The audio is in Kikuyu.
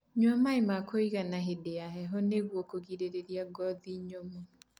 Nyua maĩ ma kuigana hĩndĩ ya heho nĩguo kũgirĩrĩrĩa ngothi nyumu